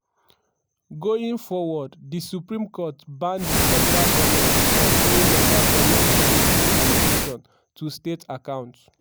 going forward di supreme court ban di federal goment from paying local goment monthly allocation to state accounts.